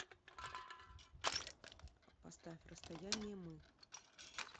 поставь расстояние мы